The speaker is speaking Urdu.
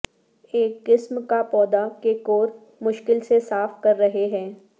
ایک قسم کا پودا کے کور مشکل سے صاف کر رہے ہیں